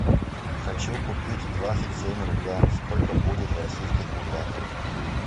хочу купить двадцать семь рубля сколько будет в российских рублях